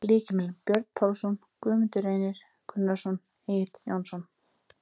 Lykilmenn: Björn Pálsson, Guðmundur Reynir Gunnarsson, Egill Jónsson.